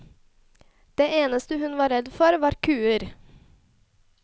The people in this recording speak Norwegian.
Det eneste hun var redd for, var kuer.